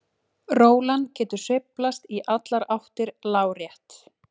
Rólan getur sveiflast í allar áttir lárétt.